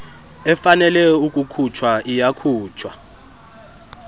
efanele ukukhutshwa iyakhutshwa